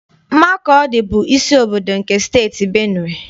Makọdị bụ isi obodo nke Steeti Benue.